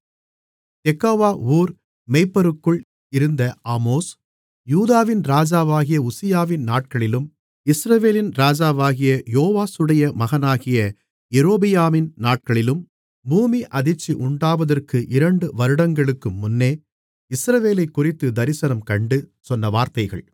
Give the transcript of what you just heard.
தெக்கோவா ஊர் மேய்ப்பருக்குள் இருந்த ஆமோஸ் யூதாவின் ராஜாவாகிய உசியாவின் நாட்களிலும் இஸ்ரவேலின் ராஜாவாகிய யோவாசுடைய மகனாகிய ரொபெயாமின் நாட்களிலும் பூமி அதிர்ச்சி உண்டாவதற்கு இரண்டு வருடங்களுக்கு முன்னே இஸ்ரவேலைக்குறித்துத் தரிசனம்கண்டு சொன்ன வார்த்தைகள்